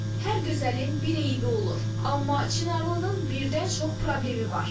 Hər gözəlin bir eybi olur, amma Çınarlının birdən çox problemi var.